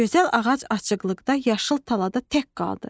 Gözəl ağac açıqlıqda, yaşıl talada tək qaldı.